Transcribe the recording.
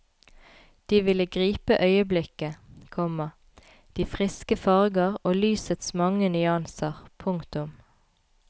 De ville gripe øyeblikket, komma de friske farger og lysets mange nyanser. punktum